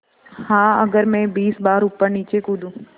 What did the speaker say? हाँ अगर मैं बीस बार ऊपरनीचे कूदूँ